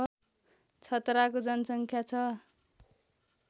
छतराको जनसङ्ख्या छ